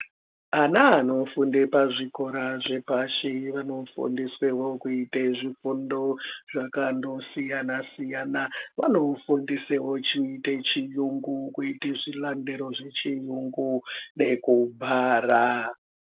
Ana anofunda pazvikora zvepashi vanofundiswevo kuite zvifundo zvakandosiyana-siyana. Vanofundiswewo kuite chiyungu, kuita zvilandero zvechiyungu nekubhara.